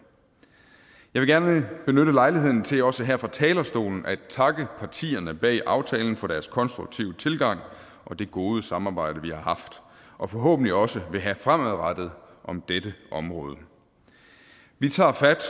gerne benytte lejligheden til også her fra talerstolen at takke partierne bag aftalen for deres konstruktive tilgang og det gode samarbejde vi har haft og forhåbentlig også vil have fremadrettet om dette område vi tager fat